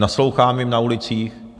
Naslouchám jim na ulicích.